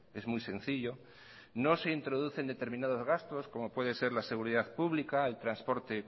es muy sencillo no se introducen determinados gastos como puede ser la seguridad pública el transporte